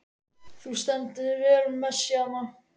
Þú stendur þig vel, Messíana!